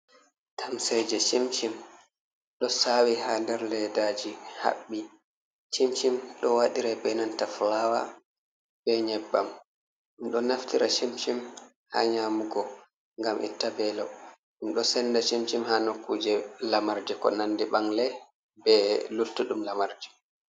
Tamseje shimshin ɗo sawi ha nder leddaji haɓɓi, chimchin ɗo waɗira be nanta fulawa, be nyebbam ɗum ɗo naftira shimchin ha nyamugo ngam itta belo, ɗum ɗo senda shimchin ha nokkuje lamarje ko nandi ɓangle, be luttudum lamarji.